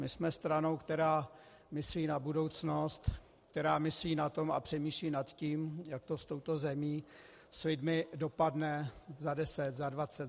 My jsme stranou, která myslí na budoucnost, která myslí na to a přemýšlí nad tím, jak to s touto zemí, s lidmi dopadne za 10, za 20, za 50 let.